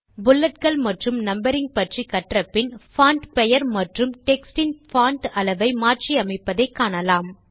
புல்லட்கள் மற்றும் நம்பரிங் பற்றி கற்றபின் பான்ட் பெயர் மற்றும் டெக்ஸ்ட் இன் பான்ட் அளவை மாற்றி அமைப்பதை காணலாம்